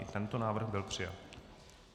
I tento návrh byl přijat.